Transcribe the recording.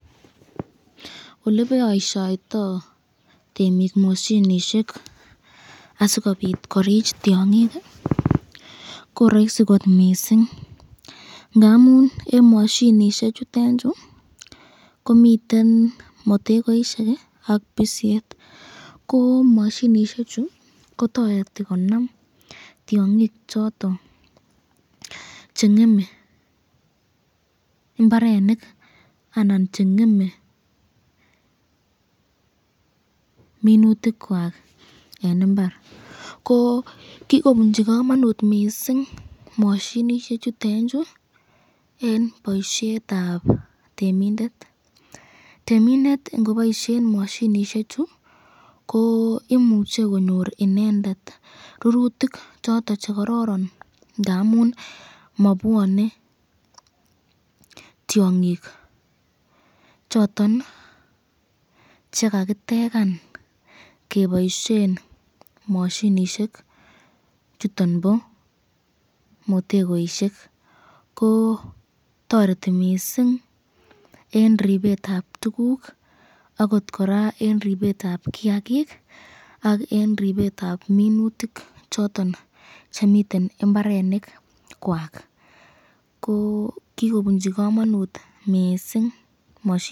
Oleboisyoito temik moshinishek asikobit korich tyongik koraisi kot mising , ngamun eng mashinishek chutenchu komiten matekoisyek ak bisek ,ko mashinishek chu kotareti konam tyongik choton chengeme mbarenik anan chengeme minutik kwak eng imbar ko , kikobunchi kamanut kot mising mashinishek chutenchu eng boisyetab temindet temindet ingoboisyen mashing chu ko imuche konyor inendet rurutik choton chekororon ndamun mabeane tyongik choton chekakitekan keboisyen mashinishek chuton bo motegoisyek, ko toreti kot mising eng ripsetab tukuk akot koraa eng ribetab kiakik ak eng ripsetab minutik choton chemiten imbarenikwak, ko kikobunchi kamanut mising.